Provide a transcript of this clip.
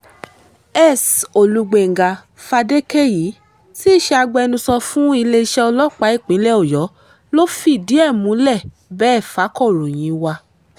s olugbenga fadékẹyí tí í ṣe agbẹnusọ fún iléeṣẹ́ ọlọ́pàá ìpínlẹ̀ ọ̀yọ́ ló fìdí ẹ̀ múlẹ̀ bẹ́ẹ̀ fàkọ̀ròyìn wa